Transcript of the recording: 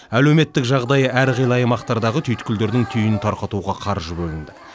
әлеуметтік жағдайы әрқилы аймақтардағы түйткілдердің түйінін тарқатуға қаржы бөлінді